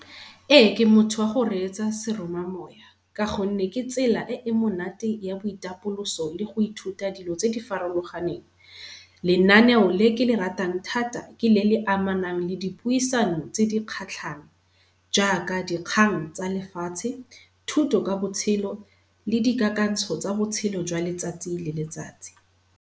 Ee, ke motho wa go reetsa seroma moya, ka gonne ke tsela e e monate ya boitapoloso le go ithuta dilo tse di farologaneng. Lenaneo le ke le ratang thata ke le le amanang le di piusano tse di kgatlhang jaaka dikgang tsa lefatshe, thuto ka botshelo le di kakantsho tsa botshelo jwa letsatsi le letsatsi.